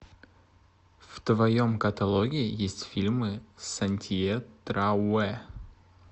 в твоем каталоге есть фильмы с антье трауэ